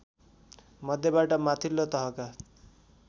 मध्येबाट माथिल्लो तहका